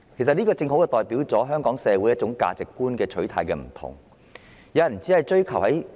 這亦正好反映出香港社會上各人對價值觀的不同取態。